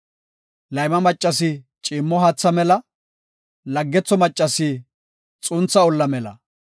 Layma maccasi ciimmo haatha mela; laggetho maccasi xuntha olla mela.